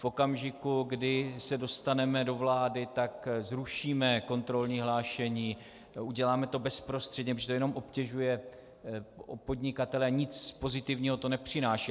V okamžiku, kdy se dostaneme do vlády, tak zrušíme kontrolní hlášení, uděláme to bezprostředně, protože to jenom obtěžuje podnikatele, nic pozitivního to nepřináší.